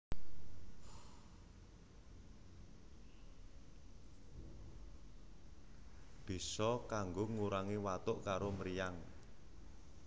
Bisa kanggo ngurangi watuk karo mriyang